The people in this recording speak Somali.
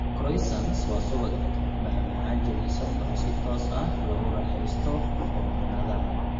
Croissants waa subag, macmacaan jilicsan oo si toos ah loogu raaxaysto foornada.